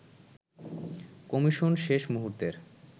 commission শেষ মুহুর্তের